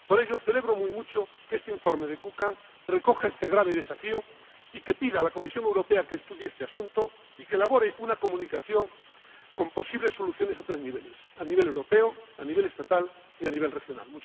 Por ello, celebro mucho que este informe de Kukan recoja este grave desafío y pida a la Comisión Europea que estudie este asunto y elabore una comunicación con posibles soluciones a tres niveles a nivel europeo, a nivel estatal y a nivel regional.